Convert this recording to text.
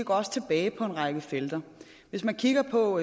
også tilbage på en række felter hvis man kigger på